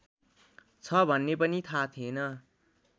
छ भन्ने पनि थाहा थिएन